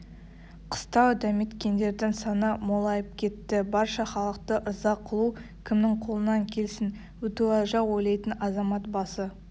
қыстау дәметкендердің саны молайып кетті барша халықты ырза қылу кімнің қолынан келсін бітуажа ойлайтын азамат басы